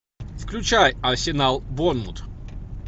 включай арсенал борнмут